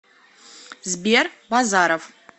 сбер базаров